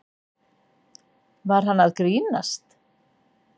Var hann að grínast?